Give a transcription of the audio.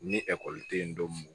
Ni ekɔli tɛ yen don mun